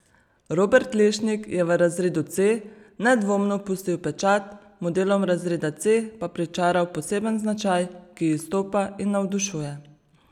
Robert Lešnik je v razredu C nedvomno pustil pečat, modelom razreda C pa pričaral poseben značaj, ki izstopa in navdušuje.